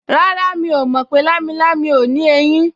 Rárá, mi ò mọ̀ pé lámilámi ò ní eyín